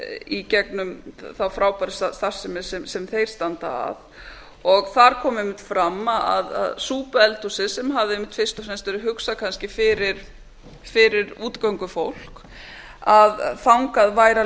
í gegnum frábæra starfsemi sem þeir standa að og þar kom einmitt fram að súpueldhúsið sem hafði einmitt fyrst og fremst verið hugsað fyrir útigöngufólk þangað væri að